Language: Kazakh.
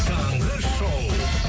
таңғы шоу